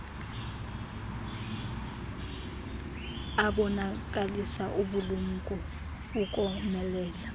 abonakalisa ubulumko ukomelela